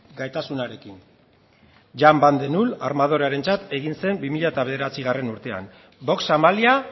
gaitasunarekin jan de null armadorearentzat egin zen bi mila bederatzi urtean vox amalia